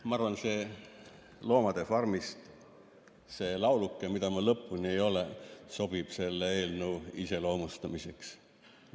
" Ma arvan, et see "Loomade farmi" lauluke, mida ma lõpuni ei loe, sobib selle eelnõu iseloomustamiseks.